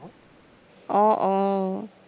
আহ আহ